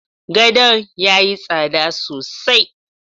Godon yayi tsada sosai